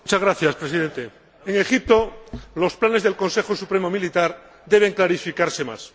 Señor Presidente, en Egipto los planes del Consejo Supremo Militar deben clarificarse más.